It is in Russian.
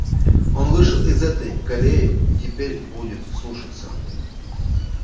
он вышел из этой колеи и теперь будет слушаться